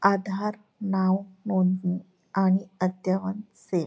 आधार नाव नोंदणी आणि अद्यतन से --